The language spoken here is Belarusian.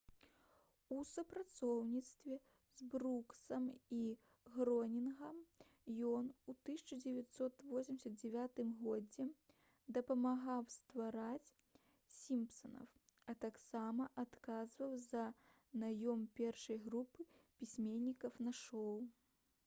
у супрацоўніцтве з бруксам і гронінгам ён ў 1989 годзе дапамагаў ствараць «сімпсанаў» а таксама адказваў за наём першай групы пісьменнікаў на шоу